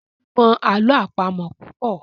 Temi mọ àlọ́ àpamọ̀ púpọ.